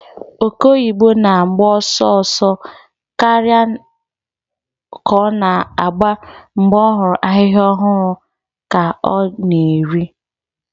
Oke oyibo na-agba ọsọ ọsọ karịa ka ọ na-agba mgbe ọ hụrụ ahịhịa ọhụrụ ka ọ na-eri.